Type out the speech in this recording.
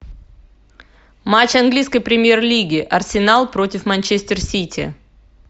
матч английской премьер лиги арсенал против манчестер сити